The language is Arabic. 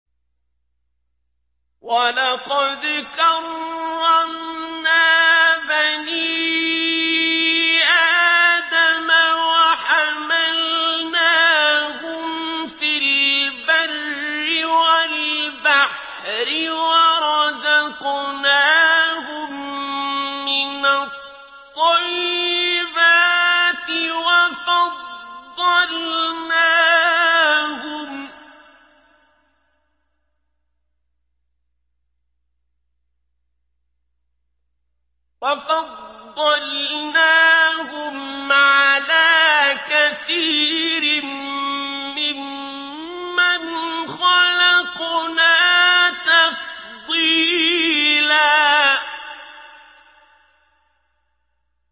۞ وَلَقَدْ كَرَّمْنَا بَنِي آدَمَ وَحَمَلْنَاهُمْ فِي الْبَرِّ وَالْبَحْرِ وَرَزَقْنَاهُم مِّنَ الطَّيِّبَاتِ وَفَضَّلْنَاهُمْ عَلَىٰ كَثِيرٍ مِّمَّنْ خَلَقْنَا تَفْضِيلًا